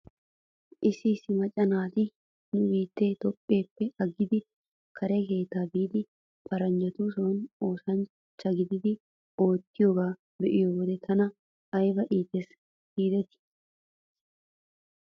Issi issi macca naati nu biittee toophpheeppe aggidi kare kiitta biidi paranjjatuson oosanchcha gididi oottiyoogaa be'iyoo wode tana ayba iites giidetii.